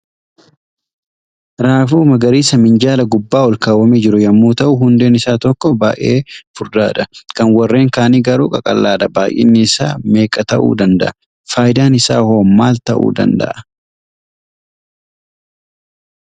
Raaguu magariisa minjaala gubbaa ol kaawwamee jiru yommuu ta'u, hundeen isa tokko baay'ee furdaadha. Kan warreen kaanii garuu qaqallaadha. Baay'inni isaa meeqa ta'uu danda'a? Faayidaan isaa hoo maal ta'uu danda'a?